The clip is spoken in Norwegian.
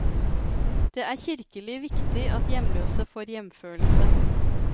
Det er kirkelig viktig at hjemløse får hjemfølelse.